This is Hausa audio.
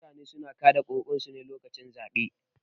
Mutane suna kaɗa ƙuri'arsu ne lokacin zaɓe